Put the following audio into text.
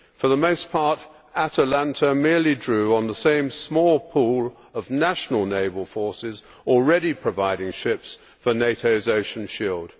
For the most part, Atalanta merely drew on the same small pool of national naval forces already providing ships for NATO's ocean shield.